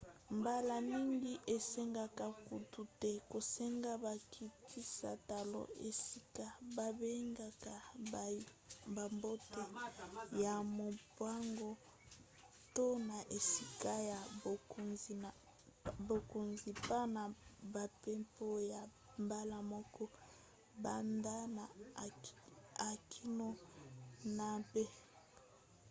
mbala mingi esengaka kutu te kosenga bakitisa talo esika babengaka ya bato ya mombongo to na esika ya bokonzi pa na bampepo ya mbala moko banda na a kino na b